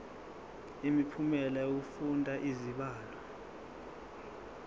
imiphumela yokufunda izibalo